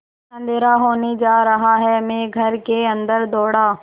अँधेरा होने जा रहा है मैं घर के अन्दर दौड़ा